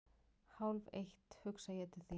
Hálfeitt hugsa ég til þín.